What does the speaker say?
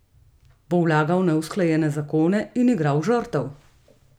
Bo vlagal neusklajene zakone in igral žrtev?